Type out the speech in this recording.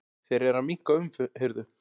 Þeir eru að minnka umhirðu.